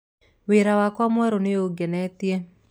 Wĩra wakwa mwerũ nĩũngenetie.